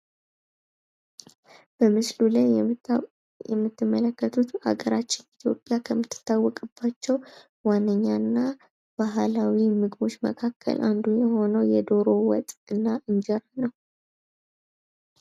በምስሉ ላይ የምትመለከቱት በሀገራችን ኢትዮጵያ ከምትታወቅባቸው ዋነኛና ባህላዊ ምግቦች መካከል አንዱ የሆነው የዶሮ ወጥ እና እንጀራ ነው።